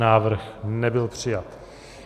Návrh nebyl přijat.